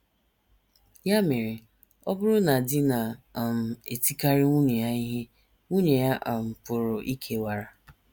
Ya mere, ọ bụrụ na di na - um etikarị nwunye ya ihe, nwunye ya um pụrụ ikewara.